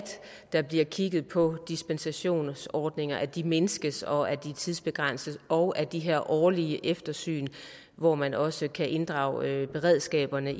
der bliver kigget på dispensationsordninger sådan at de mindskes og tidsbegrænses og at de her årlige eftersyn hvor man også kan inddrage beredskaberne